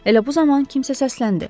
Elə bu zaman kimsə səsləndi: